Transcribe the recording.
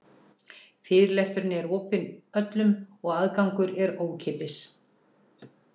Fyrirlesturinn er öllum opinn og aðgangur er ókeypis.